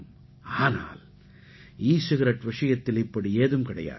ஆனால் e cigarette விஷயத்தில் இப்படி ஏதும் கிடையாது